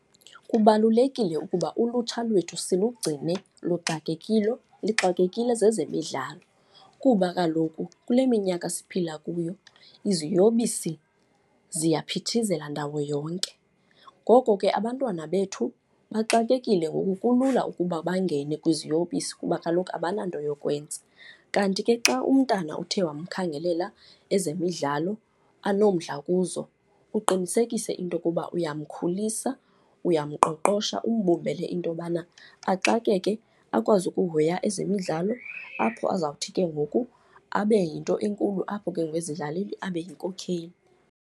Kubalulekile ukuba ulutsha lwethu silugcine lixakekile zezemidlalo kuba kaloku kule minyaka siphila kuyo iziyobisi ziyaphithizela ndawo yonke. Ngoko ke abantwana bethu baxakekile, ngoku kulula ukuba bangene kwiziyobisi kuba kaloku abananto yokwenza. Kanti ke xa umntana uthe wamkhangelela ezemidlalo anomdla kuzo, uqinisekise into yokuba uyamkhulisa, uyamqoqosha umbumbele into yobana axakeke, akwazi ukuhoya ezemidlalo, apho azawuthi ke ngoku abe yinto enkulu apho ke ngoku abe yinkokheli.